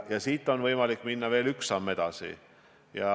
Siit on võimalik minna veel üks samm edasi.